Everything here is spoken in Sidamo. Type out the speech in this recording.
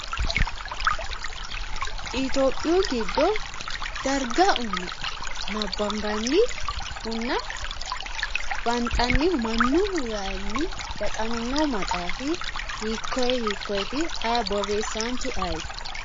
itiyopiyu giddo darga uyine nabbanbannihunna banxannihu mannu wayinni baxaminohu maxaafi hiikkoye hikkoyeeti borreessaanchu ayeeti?